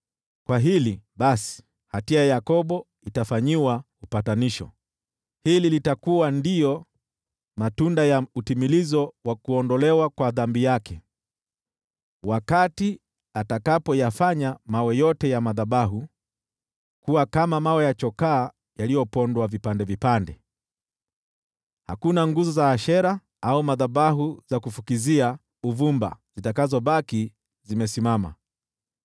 Kwa hili, basi, hatia ya Yakobo itafanyiwa upatanisho, nalo hili litakuwa matunda ya utimilizo wa kuondolewa kwa dhambi yake: Wakati atakapoyafanya mawe yote ya madhabahu kuwa kama mawe ya chokaa yaliyopondwa vipande vipande, hakuna nguzo za Ashera au madhabahu za kufukizia uvumba zitakazobaki zimesimama.